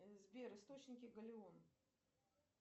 сбер источники галеон